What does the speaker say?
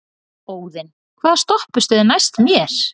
Óðinn, hvaða stoppistöð er næst mér?